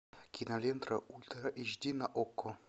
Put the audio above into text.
кинолента ультра эйч ди на окко